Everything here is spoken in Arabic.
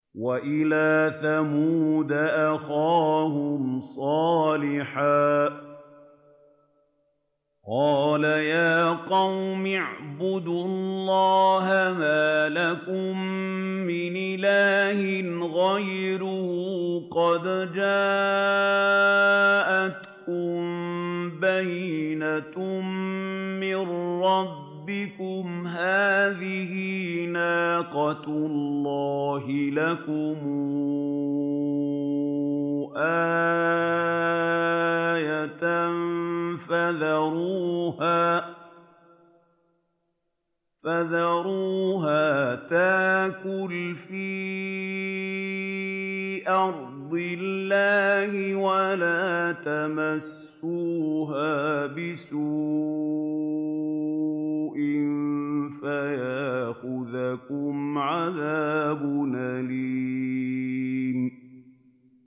وَإِلَىٰ ثَمُودَ أَخَاهُمْ صَالِحًا ۗ قَالَ يَا قَوْمِ اعْبُدُوا اللَّهَ مَا لَكُم مِّنْ إِلَٰهٍ غَيْرُهُ ۖ قَدْ جَاءَتْكُم بَيِّنَةٌ مِّن رَّبِّكُمْ ۖ هَٰذِهِ نَاقَةُ اللَّهِ لَكُمْ آيَةً ۖ فَذَرُوهَا تَأْكُلْ فِي أَرْضِ اللَّهِ ۖ وَلَا تَمَسُّوهَا بِسُوءٍ فَيَأْخُذَكُمْ عَذَابٌ أَلِيمٌ